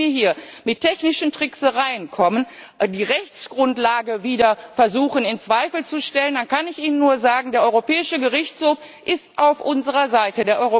Wenn Sie mir hier mit technischen Tricksereien kommen, die Rechtsgrundlage wieder versuchen in Zweifel zu stellen, dann kann ich Ihnen nur sagen, der Europäische Gerichtshof ist auf unserer Seite.